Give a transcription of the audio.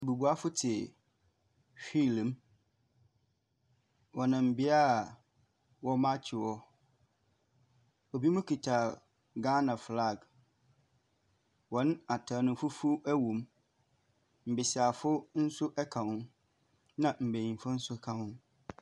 Bubuafo te hwiil mu. Wɔnam bia a wɔ m'akyi wɔ. Ebi mo kuta Gana flaag. Wɔn ataare no fufuw ɛwɔmu. Mmesiafo nso ɛka ho. na mmeyifo nso ka ho.